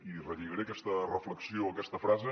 i relligaré aquesta reflexió aquesta frase